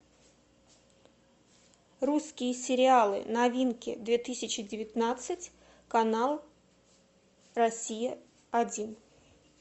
русские сериалы новинки две тысячи девятнадцать канал россия один